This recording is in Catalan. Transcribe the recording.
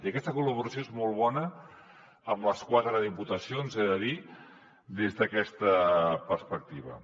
i aquesta col·laboració és molt bona amb les quatre diputacions he de dir des d’aquesta perspectiva